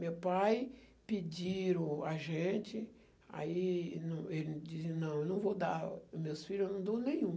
Meu pai pediu a gente, aí não, ele disse, não, eu não vou dar os meus filho, eu não dou nenhum.